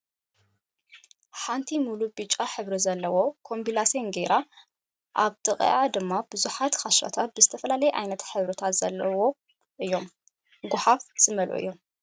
ሓንቲ ሙሉእ ብጫ ሕብሪ ዘለዎ ኮምቢላሰን ገይራ ኣብ ጥቅኣ ድማ ብዙሓት ክሻታት ብዝተፈላለየ ዓይነት ሕብሪታት ዘለዎም እዮም። ጉሓፋት ዝመልኡ እዮም።